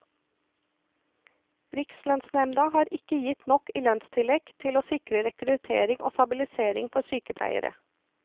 Rikslønnsnemda har ikke gitt nok i lønnstillegg til å sikre rekruttering og stabilisering for sykepleiere.